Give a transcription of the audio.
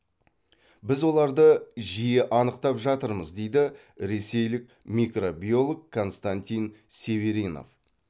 біз оларды жиі анықтап жатырмыз дейді ресейлік микробиолог константин северинов